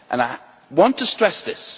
I want to stress this.